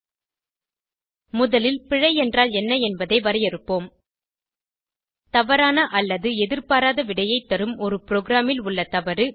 httpspoken tutorialorg முதலில் பிழை என்றால் என்ன என்பதை வரையறுப்போம் தவறான அல்லது எதிர்பாராத விடையைத் தரும் ஒரு ப்ரோகிராமில் உள்ள ஒரு தவறு